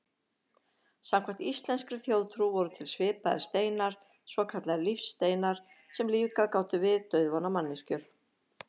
Samkvæmt íslenskri þjóðtrú voru til svipaðir steinar, svokallaðir lífsteinar, sem lífgað gátu við dauðvona manneskjur.